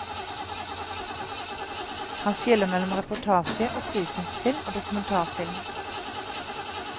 Han skiller mellom reportasje, opplysningsfilm og dokumentarfilm.